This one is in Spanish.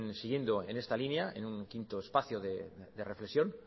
siguiendo en esta línea en un quinto espacio de reflexión